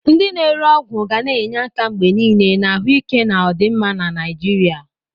Ndị na-ere ọgwụ ga na-enye aka mgbe niile na ahụike na ọdịmma na Naijiria.